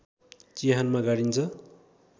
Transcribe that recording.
चिहानमा गाडिन्छ